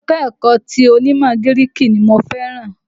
Ẹ̀ka-ẹ̀kọ ti onímọ̀ gíríìkì ni mo fẹ́ràn.